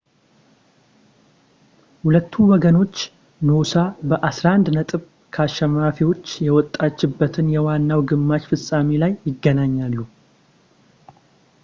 ሁለቱ ወገኖች ኖሳ በ11 ነጥብ ከአሸናፊዎች የወጣችበት የዋናው የግማሽ ፍፃሜ ላይ ይገናኛሉ